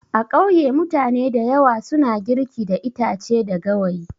A kauye mutane dayawa suna girki da itache da gawayi.